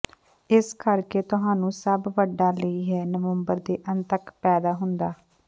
ਇਸ ਕਰਕੇ ਤੁਹਾਨੂੰ ਸਭ ਵੱਡਾ ਲਈ ਹੈ ਨਵੰਬਰ ਦੇ ਅੰਤ ਤੱਕ ਪੈਦਾ ਹੁੰਦਾ